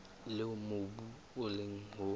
leo mobu o leng ho